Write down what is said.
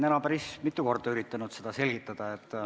Ma olen päris mitu korda üritanud seda selgitada.